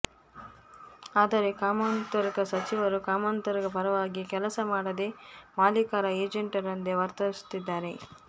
ಆದರೆ ಕಾಮರ್ಿಕ ಸಚಿವರು ಕಾಮರ್ಿಕರ ಪರವಾಗಿ ಕೆಲಸ ಮಾಡದೆ ಮಾಲೀಕರ ಏಜೆಂಟರಂತೆ ವತರ್ಿಸು ತ್ತಿದ್ದಾರೆ